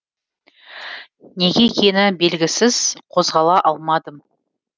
неге екені белгісіз қозғала алмадым